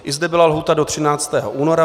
I zde byla lhůta do 13. února.